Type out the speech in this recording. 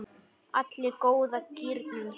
Allir í góða gírnum.